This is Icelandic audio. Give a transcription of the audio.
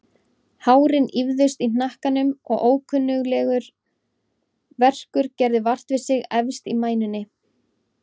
Hárin ýfðust í hnakkanum og ókunnuglegur verkur gerði vart við sig efst í mænunni.